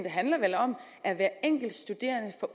handler vel om at hver enkelt studerende får